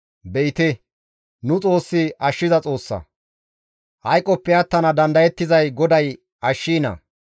Be7ite! Nu Xoossi ashshiza Xoossa! Hayqoppe attana dandayettizay GODAY ashshiina.